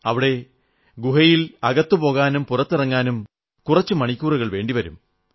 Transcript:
അവിടെ ഗുഹയിൽ അകത്തു പോകാനും പുറത്തിറങ്ങാനും കുറച്ച് മണിക്കൂറുകൾ വേണ്ടി വരും